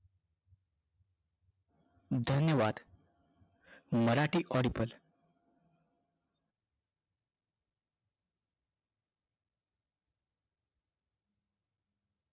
धन्यवाद मराठी audible